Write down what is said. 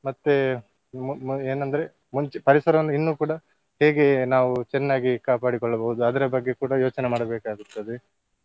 ಮತ್ತೇ ಮು~ ಮು~ ಏನಂದ್ರೆ ಮುಂಚೆ ಪರಿಸರವನ್ನು ಇನ್ನೂ ಕೂಡ ಹೇಗೆ ನಾವು ಚೆನ್ನಾಗಿ ಕಾಪಡಿಕೊಳ್ಳಬಹುದು ಅದರ ಬಗ್ಗೆ ಕೂಡ ಯೋಚನೆ ಮಾಡಬೇಕಾಗುತ್ತದೆ.